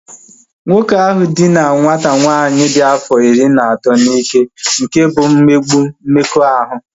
Nwoke ahụ dina nwata nwanyị ahu dị afọ iri na atọ n'ike nke bụ mmegbu mmekọahụ